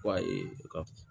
Wa ee ka